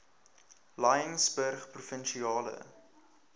laingsburgprovinsiale